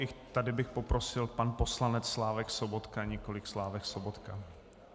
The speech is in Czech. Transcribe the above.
I tady bych poprosil - pan poslanec Slávek Sobotka, nikoliv Slávek Sobotka .